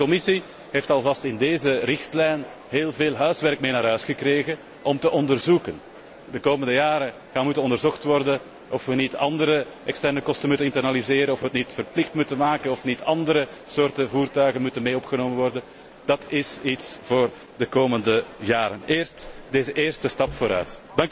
De Europese Commissie heeft alvast in deze richtlijn heel veel huiswerk meegekregen om te onderzoeken. De komende jaren moet onderzocht worden of we niet andere externe kosten moeten internaliseren, of we het niet verplicht moeten maken, of niet andere soorten voertuigen moeten worden opgenomen. Dat is iets voor de komende jaren. Eerst deze eerste stap vooruit.